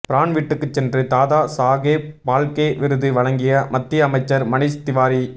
பிரான் வீட்டுக்கு சென்று தாதாசாகேப் பால்கே விருது வழங்கிய மத்திய அமைச்சர் மனிஷ் திவாரி